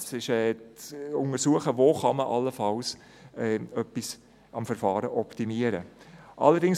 Es ist zu untersuchen, wo man an dem Verfahren allenfalls etwas optimieren kann.